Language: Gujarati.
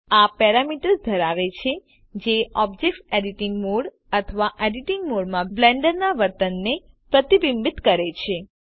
આ પેરામીટર્સ ધરાવે છે જે ઑબ્જેક્ટ એડિટિંગ મોડ અથવા એડિટિંગ મોડમાં બ્લેન્ડર ના વર્તનને પ્રતિબિંબિત કરે છે